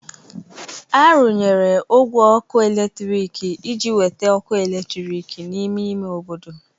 A rụnyere ogwe ọkụ eletrik iji weta ọkụ eletrik n'ime ime obodo.